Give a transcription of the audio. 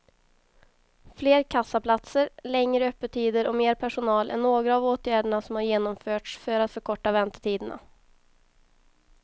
Fler kassaplatser, längre öppettider och mer personal är några av åtgärderna som har genomförts för att förkorta väntetiderna.